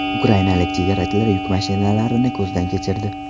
Ukrainalik chegarachilar yuk mashinalarini ko‘zdan kechirdi.